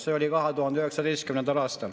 See oli 2019. aastal.